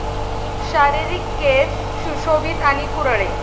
शारीरिक केस सुशोभित आणि कुरळे